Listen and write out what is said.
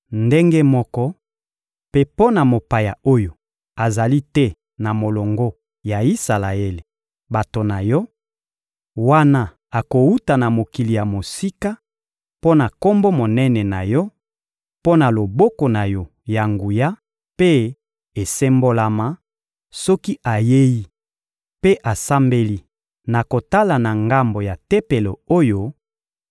Ndenge moko mpe mpo na mopaya oyo azali te na molongo ya Isalaele, bato na Yo: wana akowuta na mokili ya mosika, mpo na Kombo monene na Yo, mpo na loboko na Yo ya nguya mpe esembolama; soki ayei mpe asambeli na kotala na ngambo ya Tempelo oyo,